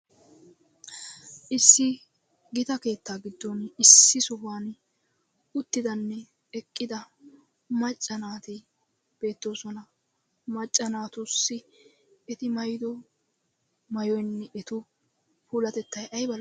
Issi gita keettaa gidfon issi sohuwan uttidanne eqqida macca naaati beettoosona macca naatussi eti maayido maayoyinne eta puulatettayi ayiba lo7ii.